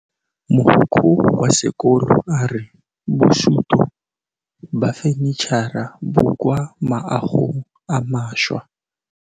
Mogokgo wa sekolo a re bosutô ba fanitšhara bo kwa moagong o mošwa.